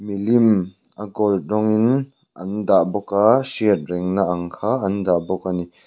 milim a gold rawngin an dah bawk a hriatrengna ang kha an dah bawk ani.